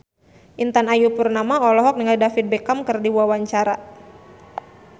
Intan Ayu Purnama olohok ningali David Beckham keur diwawancara